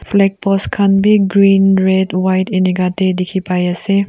flag post khan bi green red white inika deh dikhi pai ase.